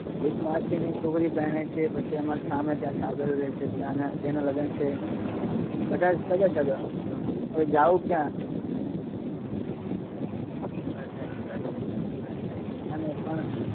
એક મસીની છોકરી પરણે છે અને સામે ત્યાં સાગર રે છે એના લગન છે બધા સગા સગા, હવે જવું ક્યાં. એ વાત સાચી વાત છે તારી એ વાત રાઇટ છે.